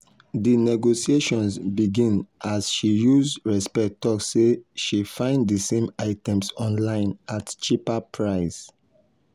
di negotiations begin as she use respect talk say she find d same items online at cheaper price.